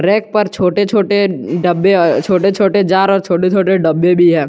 Rack पर छोटे छोटे डब्बे छोटे छोटे जार और छोटे छोटे डब्बे भी है।